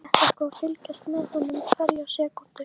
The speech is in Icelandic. Ég ætla sko að fylgjast með honum hverja sekúndu.